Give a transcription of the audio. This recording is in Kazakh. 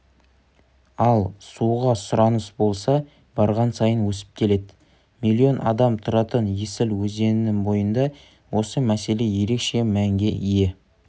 ал суға сұраныс болса барған сайын өсіп келеді миллион адам тұратын есіл өзенінің бойында осы мәселе ерекше мәнге ие